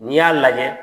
N'i y'a lajɛ